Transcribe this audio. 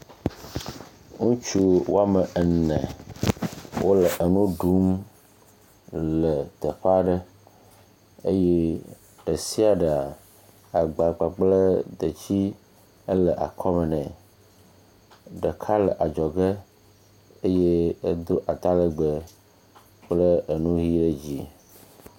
Ŋutsu wo ame ene wole nu ɖum le teƒe aɖe eye ɖe sia ɖea agba kpakple detsi le akɔme ne. Ɖeka le adzɔge eye edo atalegbe kple enu ʋie dzi.